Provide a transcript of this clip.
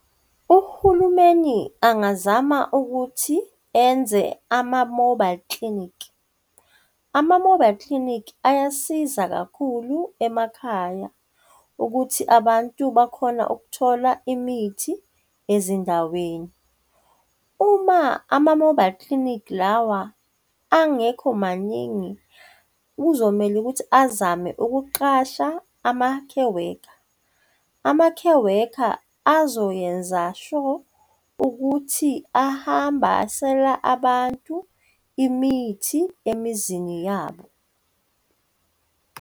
Uhulumeni angazama ukuthi enze ama-mobile clinic. Ama-mobile clinic ayasiza kakhulu emakhaya ukuthi abantu bakhona ukuthola imithi ezindaweni. Uma ama-mobile clinic lawa angekho maningi, kuzomele ukuthi azame ukuqasha ama-care worker. Ama-care worker azoyenza sho ukuthi ahambasela abantu imithi emizini yabo.